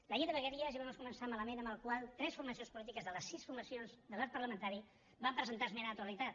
la llei de vegueries ja va començar malament amb la qual tres formacions polítiques de les sis formacions de l’arc parlamentari van presentar hi esmena a la totalitat